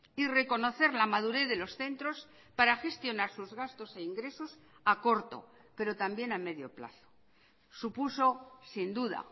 y reconocer la madurez de los centros para gestionar sus gastos e ingresos a corto pero también a medio plazo supuso sin duda